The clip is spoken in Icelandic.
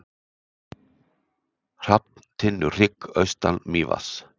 Hrafntinnuhrygg austan Mývatns.